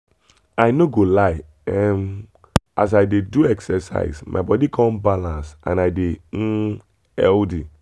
i no go lie um as i dey do exercise my body come balance and i dey um healthy.